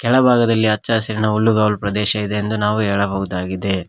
ಎಡ ಭಾಗದಲ್ಲಿ ಹಚ್ಚ ಹಸಿರಿನ ಹುಲ್ಲು ಗಾವಲು ಪ್ರದೇಶ ಇದೆ ಎಂದು ನಾವು ಹೇಳಬಹುದಾಗಿದೆ.